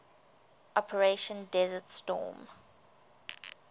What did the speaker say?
operation desert storm